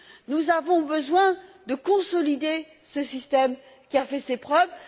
Nous avons besoin de consolider ce système qui a fait ses preuves.